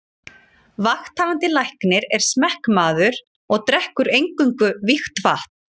Vakthafandi Læknir er smekkmaður og drekkur eingöngu vígt vatn.